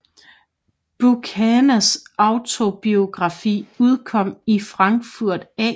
Buchanans autobiografi udkom i Frankfurt a